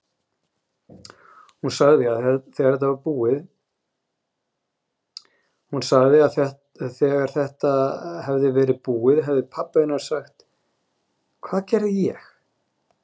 Hún sagði að þegar þetta hefði verið búið hefði pabbi hennar sagt: Hvað gerði ég?